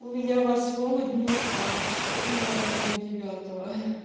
у меня восьмого днюха а у сестры в мой родной девятого